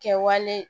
Kɛwale